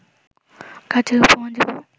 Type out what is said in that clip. কার্য্যের উপমা দিব